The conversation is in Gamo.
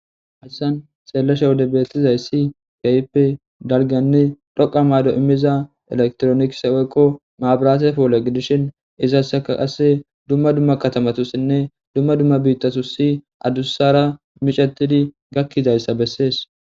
Hassan xeellesha wode bettizay si kayipe dalganne dhoqa maydo immiza elektroniks oykko maabiraate poole gidishin izassaka qasse dumma dumma katamatussinne dumma dumma biittasu si adussara micetidi gakkizayssa bessees.